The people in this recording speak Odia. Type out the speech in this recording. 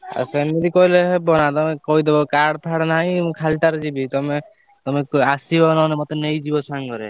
ଆଉ ସେମିତି କହିଲେ ହେବନା ତମେ କହିଦବ କାର୍ଡଫାର୍ଡ ନାହି ମୁଁ ଖାଲିଟାରେ ଯିବି ତମେ ଆସିବ ନହେଲେ ମତେ ନେଇକି ଯିବ ସାଙ୍ଗରେ।